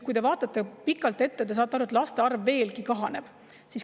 Kui te vaatate pikalt ette, siis te saate aru, et laste arv kahaneb veelgi.